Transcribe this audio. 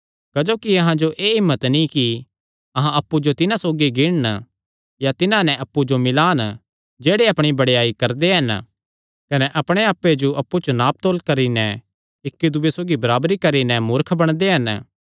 क्जोकि अहां जो एह़ हिम्मत नीं कि अहां अप्पु जो तिन्हां सौगी गिणन या तिन्हां नैं अप्पु जो मिल्लान जेह्ड़े अपणी बड़ेयाई करदे हन कने अपणे आप्पे जो अप्पु च नाप तौल करी नैं इक्की दूये सौगी बराबरी करी नैं मूर्ख बणदे हन